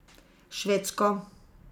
Švedsko.